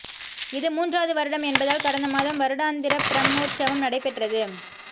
இது மூன்றாவது வருடம் என்பதால் கடந்த மாதம் வருடாந்திர பிரம்மோற்சவம் நடைபெற்றது